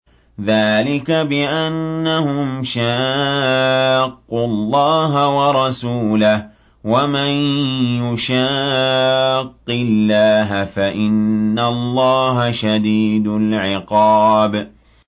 ذَٰلِكَ بِأَنَّهُمْ شَاقُّوا اللَّهَ وَرَسُولَهُ ۖ وَمَن يُشَاقِّ اللَّهَ فَإِنَّ اللَّهَ شَدِيدُ الْعِقَابِ